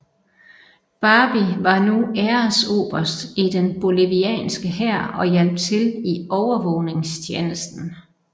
Barbie var nu æresoberst i den bolivianske hær og hjalp til i overvågningstjenesten